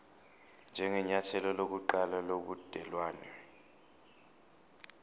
njengenyathelo lokuqala lobudelwane